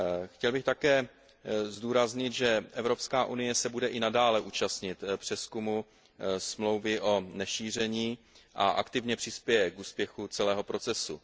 Chtěl bych také zdůraznit, že Evropská unie se bude i nadále účastnit přezkumu Smlouvy o nešíření a aktivně přispěje k úspěchu celého procesu.